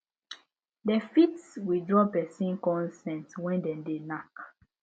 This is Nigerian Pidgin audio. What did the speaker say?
dem fit withdraw person consent when dem de knack